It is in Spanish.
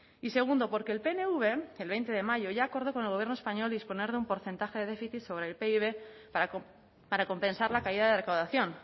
y segundo porque el pnv el veinte de mayo ya acordó con el gobierno español disponer de un porcentaje de déficit sobre el pib para compensar la caída de recaudación